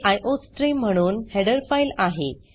ही iostream म्हणून header file आहे